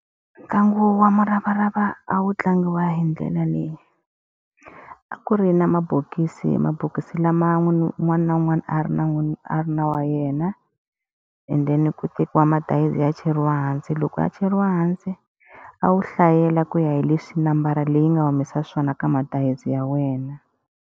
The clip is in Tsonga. Ntlangu wa muravarava a wu tlangiwa hi ndlela leyi. A ku ri na mabokisi mabokisi lama un'wana na un'wana a ri na a ri wa ra yena, and then ku tekiwa madayizi ya cheriwa hansi. Loko ya cheriwa hansi, a wu hlayela ku ya hi leswi nambara leyi nga humesa xiswona ka madayizi ya wena.